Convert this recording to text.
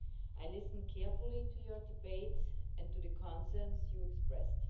I listened carefully to your debate and to the concerns you expressed.